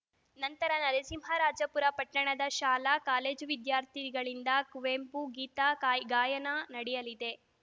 ನಂತರ ನರಸಿಂಹರಾಜಪುರ ಪಟ್ಟಣದ ಶಾಲಾ ಕಾಲೇಜು ವಿದ್ಯಾರ್ಥಿಗಳಿಂದ ಕುವೆಂಪು ಗೀತ ಗಾಯಿ ಗಾಯನ ನಡೆಯಲಿದೆ